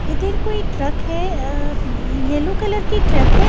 इधर कोई ट्रक है अह येलो कलर की ट्रक है।